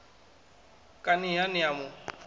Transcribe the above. kani ha ni a mu